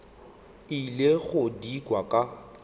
ile go di kwa a